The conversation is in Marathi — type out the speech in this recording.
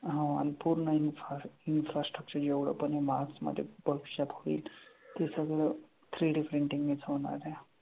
हां आणि पूर्ण इन्फार infrastructure एवढं पण आहे मार्स मध्ये भविष्यात होईल ते सगळं three D printing नेच होणार आहे.